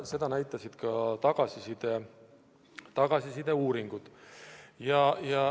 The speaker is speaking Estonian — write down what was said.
Seda näitasid ka tagasiside uuringud.